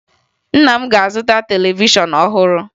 Nna m ga-azụta televishọn ọhụrụ